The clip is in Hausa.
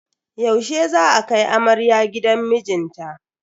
Yaushe za a kai amarya gidan mijinta?